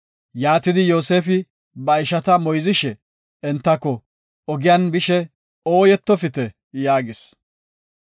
Yaatidi, Yoosefi ba ishata moyzishe, entako, “Ogiyan bishe ooyetofite” yaagis.